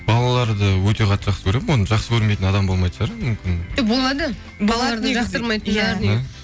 балаларды өте қатты жақсы көремін оны жақсы көрмейтін адам болмайтын шығар мүмкін жоқ болады балаларды жақтырмайтындар